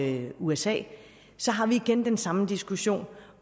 i usa så har vi igen den samme diskussion